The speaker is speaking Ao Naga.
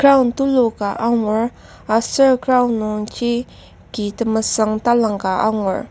Ground tuluka angur aser ground nungji ki temesüng talangka angur.